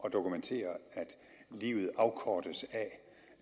at dokumentere at livet afkortes af